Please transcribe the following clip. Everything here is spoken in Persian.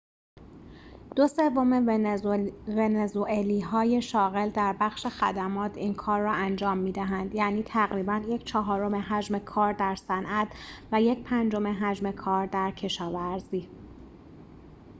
دو سوم ونزوئلایی‌های شاغل در بخش خدمات این کار را انجام می‌دهند یعنی تقریباً یک‌چهارم حجم کار در صنعت و یک‌پنجم حجم کار در کشاورزی